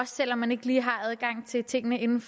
selv om man ikke lige har adgang til tingene inden